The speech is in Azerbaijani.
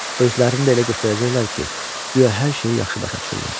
Özlərini də elə göstərəcəklər ki, güya hər şeyi yaxşı başa düşürlər.